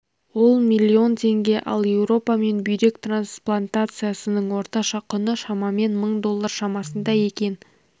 ол миллион теңге ал еуропа мен бүйрек трансплантациясының орташа құны шамамен мың доллар шамасында екен